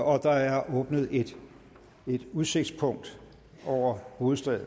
og der er åbnet et udsigtspunkt over hovedstaden